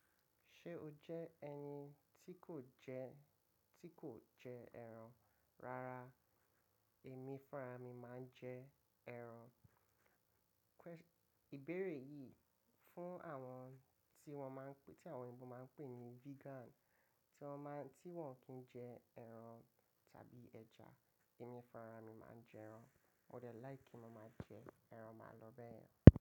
Ṣé o jẹ́ ẹni tí kò jẹ́, tí kò jẹ ẹran? Rárá, èmi fúnra mi máa ń jẹ ẹran. Ìbéèrè yìí fún àwọn tí wọ́n máa ń pé, tí àwọn Yorùbá máa ń pè ní vegan, tí wọ́n máa, tí wọ́n kì í jẹ ẹran tàbí ẹja. Èmi fúnra mi máa jẹ ẹran. Mo dẹ̀ like kí mo máa jẹ ẹran, máa lọ bẹ́ẹ̀ yẹn.